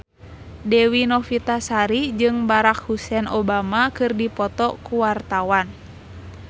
Dewi Novitasari jeung Barack Hussein Obama keur dipoto ku wartawan